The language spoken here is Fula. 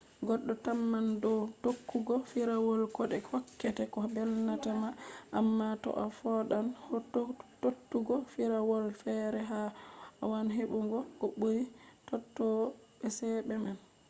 goddo tamman dow tokkugo firawol kode hokkete ko belnatama amma toaa foodan tokkugo firawolfere a waawan hebugo ko buri tododo be chede man